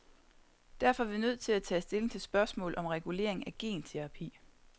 Derfor er vi nødt til at tage stilling til spørgsmålet om regulering af genterapi.